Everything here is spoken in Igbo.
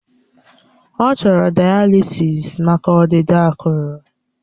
Ọ chọrọ daalisịs maka ọdịda akụrụ